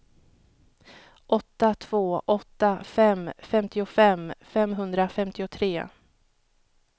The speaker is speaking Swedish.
åtta två åtta fem femtiofem femhundrafemtiotre